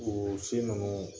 o si ninnu